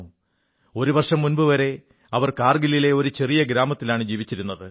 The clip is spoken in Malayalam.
ഒരു വർഷം മുമ്പുവരെ അവർ കാർഗിലിലെ ഒരു ചെറിയ ഗ്രാമത്തിലാണ് ജീവിച്ചിരുന്നത്